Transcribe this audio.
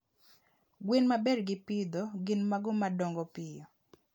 Gwen maber gi pitho gin mago ma dongo piyo.